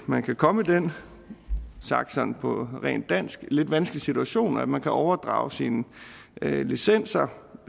man kan komme i den sagt på rent dansk lidt vanskelige situation at man har overdraget sine licenser